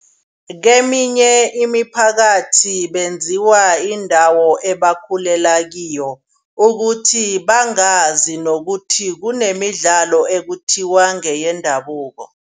Keminye imiphakathi benziwa yindawo ebakhulela kiyo. Ukuthi bangazi nokuthi kunemidlalo ekuthiwa ngeyendabuko.